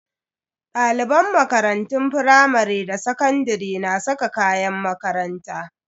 Daliban makarantun firamare da sakandare na saka kayan makaranta.